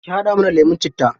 Ki haɗa mana lemun citta.